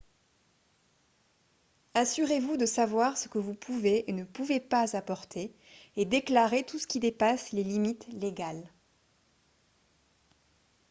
assurez-vous de savoir ce que vous pouvez et ne pouvez pas apporter et déclarez tout ce qui dépasse les limites légales